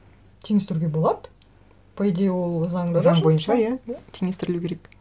теңестіруге болады по идее ол заңда да жазылған заң бойынша иә теңестірілу керек